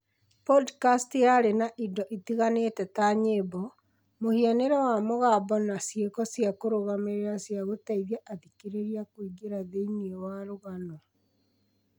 podikasti yarĩ na indo itiganĩte ta nyĩmbo, mũhianĩre wa mũgambo na ciĩko cia kĩrũgamĩrĩri cia gũteithia athikĩrĩria kũingĩra thĩinĩ wa rũgano